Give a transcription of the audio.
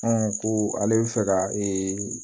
ko ale bɛ fɛ ka ee